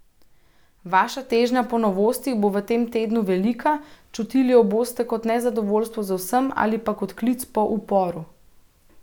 Vaša težnja po novostih bo v tem tednu velika, čutili jo boste kot nezadovoljstvo z vsem ali pa kot klic po uporu.